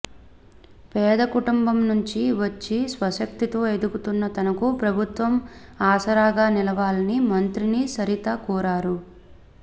పేద కుటుంబం నుంచి వచ్చి స్వశక్తితో ఎదుగుతున్న తనకు ప్రభుత్వం ఆసరాగా నిలవాలని మంత్రిని సరిత కోరారు